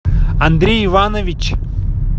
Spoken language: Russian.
андрей иванович